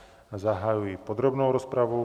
Zahajuji podrobnou rozpravu.